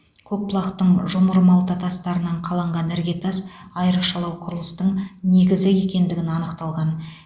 көкбұлақтың жұмыр малта тастарынан қаланған іргетас айрықшалау құрылыстың негізі екендігін анықталған